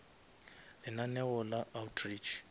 lenaneo la outreach